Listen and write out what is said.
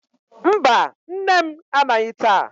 Mba, nne m anaghị taa.